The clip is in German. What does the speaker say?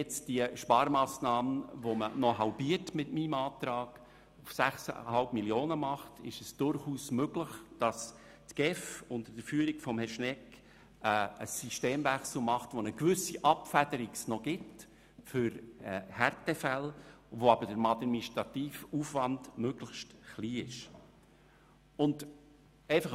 Wenn man diese Sparmassnahme mit meiner Planungserklärung auf 6,5 Mio. Franken halbiert, ist es durchaus möglich, dass die GEF unter der Führung von Herrn Schnegg einen Systemwechsel vollzieht, der noch eine gewisse Abfederung für Härtefälle erlaubt, wobei der administrative Aufwand möglichst klein gehalten wird.